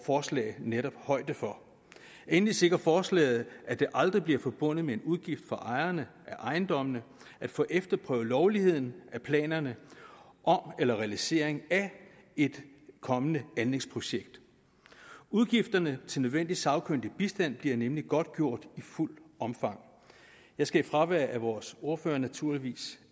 forslag netop højde for endelig sikrer forslaget at det aldrig bliver forbundet med en udgift for ejerne af ejendommene at få efterprøvet lovligheden af planerne om eller realiseringen af et kommende anlægsprojekt udgifterne til nødvendig sagkyndig bistand bliver nemlig godtgjort i fuldt omfang jeg skal i fravær af vores ordfører naturligvis